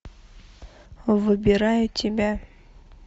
выбираю тебя